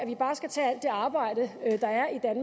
vi bare skal tage alt det arbejde det